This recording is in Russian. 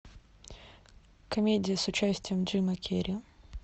комедия с участием джима керри